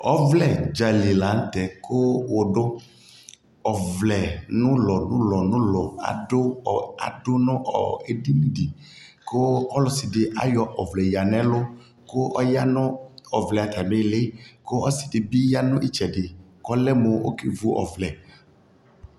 Ɔvlɛ dzali la ntɛ ku wu duƆvlɛ dulɔdulɔdulɔ adu ɔ adu nu ɔ ɛdιni dιKu ɔsi di ayɔ ɔvlɛ ya nɛluKu ɔya nu ɔvlɛ ata mi liKu ɔsi dι bi ya nu ata mi tsɛ diKɔ lɛ mu ɔkɛ vu ɔvlɛ